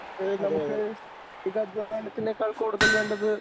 ഏ നമുക്ക് ഇത് അധ്വാനത്തിനേക്കാൾ കൂടുതൽ വേണ്ടത്